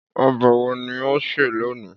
Ọbẹ wo ni o n se loni?